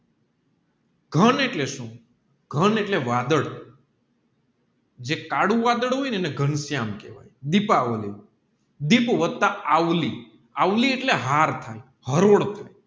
ઘન એટલે સુ ઘન એટલે વાદળ જે કાળું વાઢાળ હોયને એને ઘન શ્યામ કેહવાય દીપાવલી ડીપ વત્તા આવલી એટલે હાર થાય